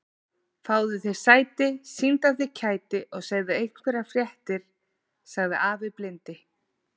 Fáðu þér sæti, sýndu af þér kæti og segðu einhverjar fréttir sagði afi blindi.